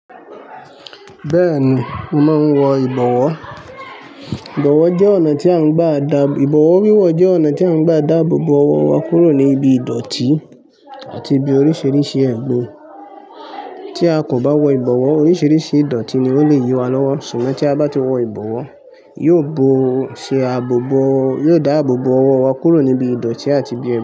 Bẹ́ẹ̀ni, mo máa ń wọ ìbọ̀wọ́. Ìbọ̀wọ́ jẹ́ ọ̀nà tí à ń gbà dá, ìbọ̀wọ̀ wíwọ̀ jẹ́ ọ̀nà tí à ń gbà dá àbò bò ọwọ́ wa kúrò ní ibi ìdọ̀ọ̀tí àti ibi oríṣìíríṣìí ẹ̀gbin Tí a kò bá wọ ìbọ̀wọ́, oríṣìíríṣìí ìdọ̀ọ̀tí ni ó lè yí wa lọ́wọ́. Ṣùgbọ́n tí a bá ti wọ ìbọ̀wọ́, yóò bo ọ ṣe àbò bò, yóò dá àbò bò ọwọ́ wa kúrò ní ibi ìdọ̀ọ̀tí àti ibi ẹ̀gbin.